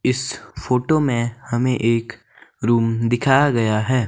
इस फोटो में हमें एक रूम दिखाया गया है।